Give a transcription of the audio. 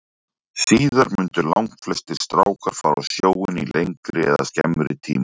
Síðar mundu langflestir strákar fara á sjóinn í lengri eða skemmri tíma.